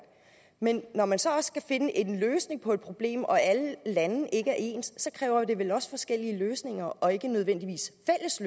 men når man så også skal finde en løsning på et problem og alle lande ikke er ens kræver det vel også forskellige løsninger og ikke nødvendigvis